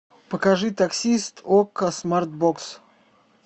покажи таксист окко смарт бокс